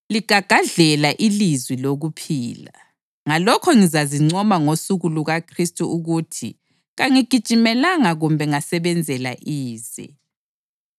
ligagadlela ilizwi lokuphila. Ngalokho ngizazincoma ngosuku lukaKhristu ukuthi kangigijimelanga kumbe ngasebenzela ize.